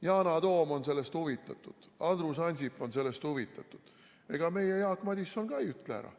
Yana Toom on sellest huvitatud, Andrus Ansip on sellest huvitatud, meie Jaak Madison ei ütle ka ära.